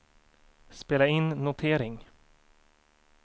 spela in notering